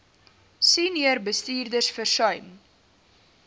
senior bestuurders versuim